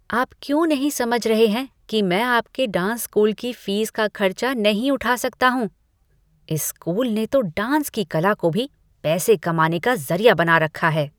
आप क्यों नहीं समझ रहे हैं कि मैं आपके डांस स्कूल की फीस का खर्चा नहीं उठा सकता हूँ। इस स्कूल ने तो डांस की कला को भी पैसे कमाने का ज़रिया बना रखा है।